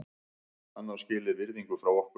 Hann á skilið virðingu frá okkur.